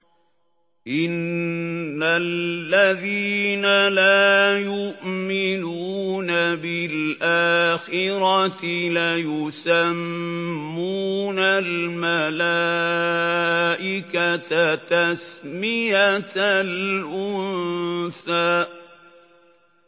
إِنَّ الَّذِينَ لَا يُؤْمِنُونَ بِالْآخِرَةِ لَيُسَمُّونَ الْمَلَائِكَةَ تَسْمِيَةَ الْأُنثَىٰ